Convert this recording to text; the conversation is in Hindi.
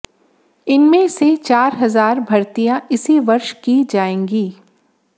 इनमें से चार हजार भर्तियां इसी वर्ष की जाएंगी